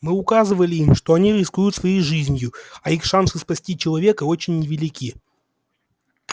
мы указывали им что они рискуют своей жизнью а их шансы спасти человека очень невелики